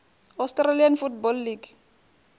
australian football league